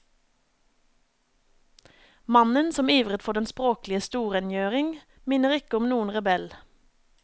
Mannen som ivret for den språklige storrengjøring, minner ikke om noen rebell.